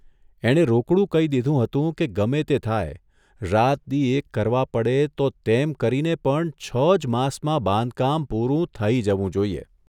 એણે રોકડું કહી દીધું હતું કે ગમે તે થાય, રાત દિ' એક કરવા પડે તો તેમ કરીને પણ છ જ માસમાં બાંધકામ પૂરું થઇ જવું જોઇએ.